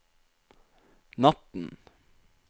natten